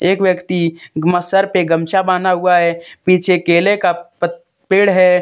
एक व्यक्ति सर पर गमछा बॉहां हुआ है पीछे केले का प पेड़ है।